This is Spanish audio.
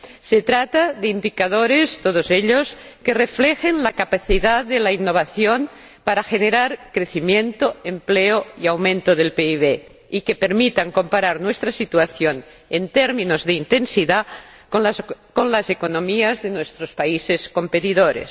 Se trata de establecer indicadores, todos ellos, que reflejen la capacidad de la innovación para generar crecimiento, empleo y aumento del PIB, y que permitan comparar nuestra situación, en términos de intensidad, con las economías de nuestros países competidores.